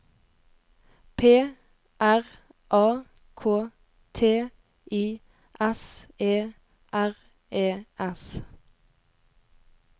P R A K T I S E R E S